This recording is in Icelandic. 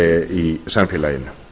í samfélaginu